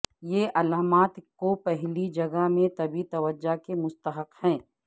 یہ علامات کو پہلی جگہ میں طبی توجہ کے مستحق ہیں